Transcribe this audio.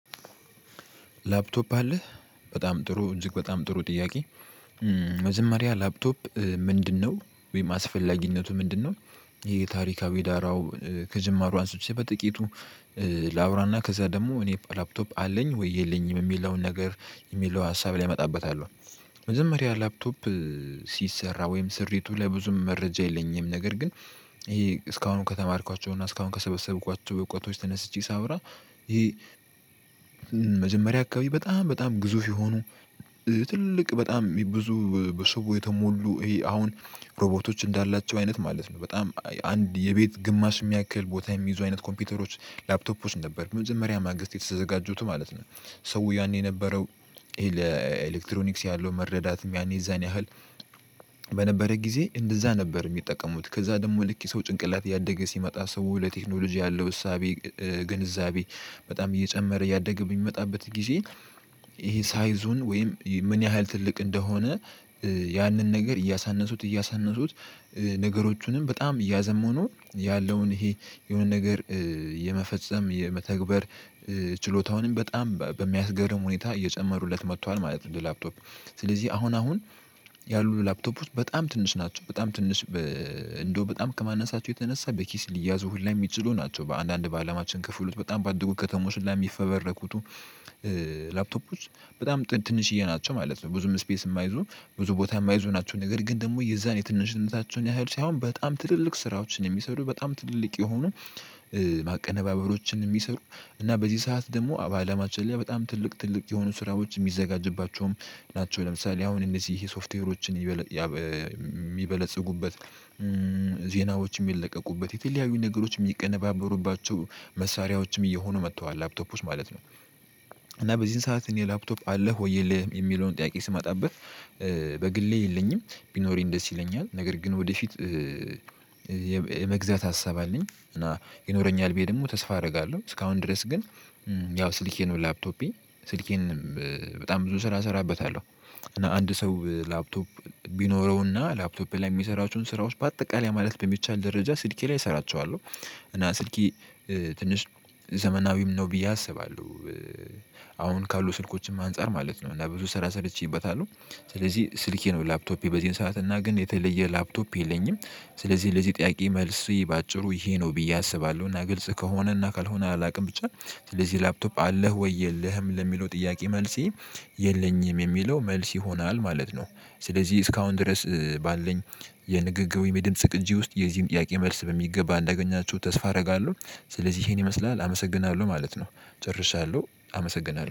ላፕቶፕ አለህ በጣም ጥሩ እጅግ በጣም ጥሩ ጥያቄ? መጀመሪያ ላፕቶፕ ምንድነው ወይም አስፈላጊነቱ ምንድነው? ይሄ ታሪካዊ ዳራው ከጅማሮው አንስቶ በጥቂቱ ላውራና ከዛ ደግሞ እኔ ላፕቶፕ አለኝ ወይ የለኝም የሚለውን ነገር የሚለው ሀሳብ ላይ እመጣበታለሁ። መጀመሪያ ላፕቶፕ ሲሰራ ወይም ስሪቱ ለብዙ መረጃ የለኝም ነገር ግን ይሄ እስካሁን ከተማርኳቸው እና እስካሁን ከሰበሰብኳቸው እውቀቶች ተነስቼ ሳወራ ይሄ መጀመሪያ አካባቢ በጣም በጣም ግዙፍ የሆኑ ትልቅ በጣም ብዙ በሰዎች የተሞሉ ይሄ አሁን ሮቦርቶች እንዳላቸው አይነት ማለት ነው በጣም አንድ የቤት ግማሽ የሚያክል ቦታ የሚይዙ አይነት ኮምፒውተሮች ላፕቶፖችን ነበር በመጀመሪያ ማግስት የተዘጋጁት ማለት ነው። ሰው ያኔ የነበረው ኤሌክትሮኒክስ ያለው መረዳት ያኔ ያኔ ያህል በነበረ ጊዜ እንደዛ ነበር። የሚጠቀሙት ከዛ ደግሞ ልክ ሰው ጭንቅላት ያደገ ሲመጣ ሰው ለቴክኖሎጂ ያለው እሳቤ ግንዛቤ በጣም እየጨመረ እያደገ የሚመጣበት ጊዜ ይሄ ሳይዙን ወይም ምን ያህል ትልቅ እንደሆነ ያንን ነገር እያሳነሱት እያሳነሱት ነገሮቹንም በጣም እያዘመኑ ያለውን ይሄ የሆነ ነገር የመፈጸም የመተግበር ችሎታውንም በጣም በሚያስገርም ሁኔታ እየጨመሩለት መጥቷል ማለት። ለላፕቶፕ ስለዚህ አሁን አሁን ያሉት ላፕቶፕ በጣም ትንሽ ናቸው በጣም ትንሽ እንደው በጣም ከማንነሳቸው የተነሳ በኪስ ሊያዙ ሁላ የሚችሉ ናቸው በአንዳንድ በአለማችን ክፍሎች በጣም ባደጉ ከተሞች ላይ የሚፈበረኩት ላፕቶፖች በጣም ትንሽዬ ናቸው ማለት ነው። ብዙም ስፔስ የማይዙ ብዙ ቦታ የማይዙ ናቸው ነገር ግን ደግሞ የዛን የትንሽነታቸውን ያህል ሳይሆን በጣም ትልልቅ ስራዎችን የሚሰሩ በጣም ትልልቅ የሆኑ ማቀነባበሮችን የሚሰሩ እና በዚህ ሰዓት ደግሞ በአለማችን ላይ በጣም ትልቅ ትልቅ የሆኑ ስራዎች የሚዘጋጅባቸውም ናቸው። ለምሳሌ አሁን እነዚህ ይሄ ሶፍትዌሮችን የሚበለጽጉበት ዜናዎችም የሚለቀቁበት የተለያዩ ነገሮችም የሚቀነባበሩባቸው መሳሪያዎችም እየሆኑ መጥተዋል ላፕቶፖች ማለት ነው። እና በዚህን ሰዓት እኔ ላፕቶፕ አለህ ወይ የለህም? የሚለውን ጥያቄ ስማጣብህ በግሌ የለኝም ቢኖር ደስ ይለኛል ነገር ግን ወደፊት የመግዛት ሀሳብ አለኝ እና ይኖረኛል ብዬ ደግሞ ተስፋ አደርጋለሁ። እስካሁን ድረስ ግን ያው ስልኬ ነው ላፕቶፔ ስልኬንም በጣም ብዙ ስራ እሰራበታለሁ። አንድ ሰው ላፕቶፕ ቢኖረውና ላፕቶፕ ላይ የሚሰራችሁን ስራዎች በአጠቃላይ ማለት በሚቻል ደረጃ ስልኬ ላይ እሰራቸዋለሁ እና ስልኬ ትንሽ ዘመናዊም ነው ብዬ አስባለሁ። አሁን ካሉ ስልኮችም አንፃር ማለት ነው እና ብዙ ስራ ሰርቼበታለሁ ስለዚህ ስልኬ ነው ላፕቶፔ በዚህን ሰዓት እና ግን የተለየ ላፕቶፕ የለኝም። ስለዚህ ለዚህ ጥያቄ መልስ በአጭሩ ይሄ ነው ብዬ አስባለሁ እና ግልጽ ከሆነ እና ካልሆነ አላውቅም ብቻ ስለዚህ ላፕቶፕ አለህ ወይ የለህም ለሚለው ጥያቄ መልሴ የለኝም የሚለው መልስ ይሆናል ማለት ነው። ስለዚህ እስካሁን ድረስ ባለን የንግግሩ የድምጽ ቅጅ ውስጥ የዚህን ጥያቄ መልስ በሚገባ እንዳገኛችሁ ተስፋ አደርጋለሁ። ስለዚህ ይሄን ይመስላል አመሰግናለሁ ማለት ነው። ጨርሻለሁ አመሰግናለሁ